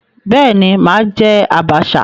Bẹ́ẹ̀ ni, mà á jẹ́ àbàṣà.